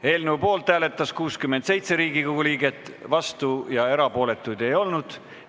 Hääletustulemused Poolt hääletas 67 Riigikogu liiget, vastuolijaid ja erapooletuid ei olnud.